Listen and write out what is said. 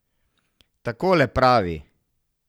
Takole pravi.